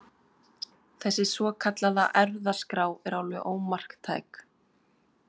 Þessi svokallaða erfðaskrá er alveg ómarktæk.